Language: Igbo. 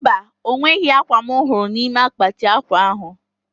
Mba, onweghi akwa m huru nime akpati akwa ahu